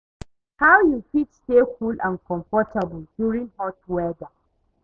How you fit stay cool and comfortable during hot weather?